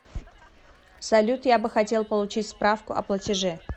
салют я бы хотел получить справку о платеже